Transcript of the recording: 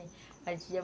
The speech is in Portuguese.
A gente ia.